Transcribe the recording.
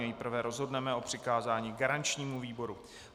Nejprve rozhodneme o přikázání garančnímu výboru.